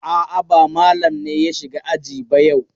A'a, ba Malam ne ya shiga aji ba yau.